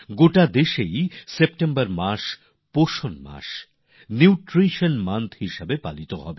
সারা দেশে সেপ্টেম্বর মাসটি পুষ্টির মাস নিউট্রিশন মান্থ হিসাবে পালিত হবে